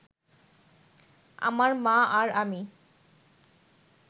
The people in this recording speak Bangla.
আমার মা আর আমি